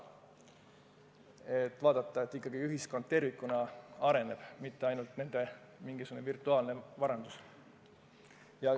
Tuleb jälgida, et ikkagi ühiskond tervikuna areneb, mitte ei kasva ainult rikaste minigisugune virtuaalne varandus.